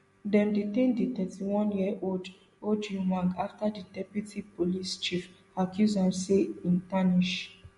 dem detain di thirty-oneyearold ojwang afta di deputy police chief accuse am say im tarnish